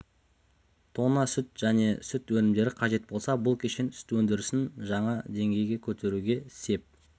тонна сүт және сүт өнімдері қажет болса бұл кешен сүт өндірісін жаа дегейге көтеруге сеп